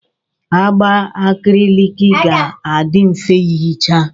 Agba akriliki ga-adị mfe ihicha.